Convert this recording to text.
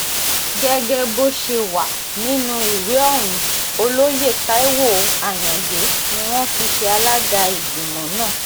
gẹ́gẹ́ bó ṣe wà nínú ìwé ohun olóye taiwo ayọ̀ǹde ni wọ́n fi ṣe alága ìgbìmọ̀ náà